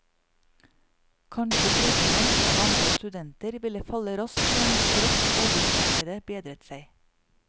Kanskje trodde man at antall studenter ville falle raskt igjen straks arbeidsmarkedet bedret seg.